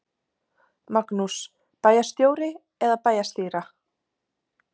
Magnús: Bæjarstjóri eða bæjarstýra?